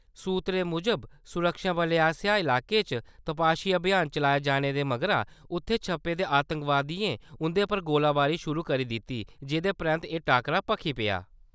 सुत्तरें मुजब, सुरक्षाबलें आसेआ इलाके च तपाशी अभियान चलाए जाने दे मगरा, उत्थै छप्पे दे आतंकवादियें उं`दे पर गोलीबारी शुरू करी दित्ती जेह्‌दे परैन्त एह् टाक्करा भखी पेआ।